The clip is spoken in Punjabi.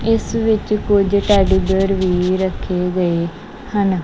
ਇਸ ਵਿੱਚ ਕੁਝ ਟੈਡੀ ਬੀਅਰ ਵੀ ਰੱਖੇ ਗਏ ਹਨ।